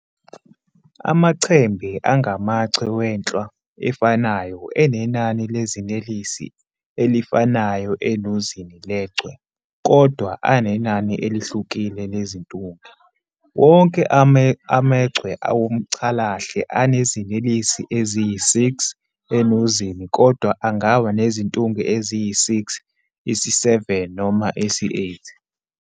Amachembe angamachwe wenhlwa efanayo, enenani lezinelesi elifanayo enuzini lechwe, kodwana anenani "elihlukile" lezintunge. Wonke amaChwe womCalahle anezinelesi eziyisi-6 enuzini, kodwa angaba nezintunge eziyisi-6, isi-7 noma isi-8.